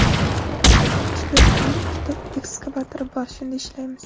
Ish beruvchining ikkita ekskavatori bor, shunda ishlaymiz.